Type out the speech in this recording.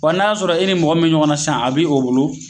wa na sɔrɔ i ni mɔgɔ min be ɲɔgɔn na sisan a be o bolo